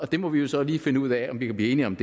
det må vi jo så lige finde ud af om vi kan blive enige om